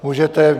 Můžete.